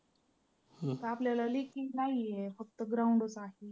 तर आपल्याला लेखी नाही आहे फक्त ground च आहे.